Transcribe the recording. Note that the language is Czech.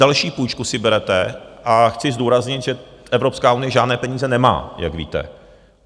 další půjčku si berete a chci zdůraznit, že Evropská unie žádné peníze nemá, jak víte.